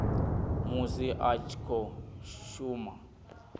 musi a tshi khou shuma